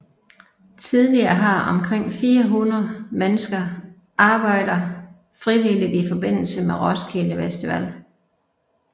Tidligere har omkring 400 mennesker arbejder frivilligt i forbindelse med Roskilde Festival